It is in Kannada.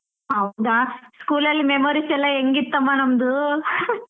ಹೌದಾ school ಅಲ್ಲಿ memories ಎಲ್ಲ ಹೆಂಗಿತ್ತಮ್ಮ ನಮ್ದು .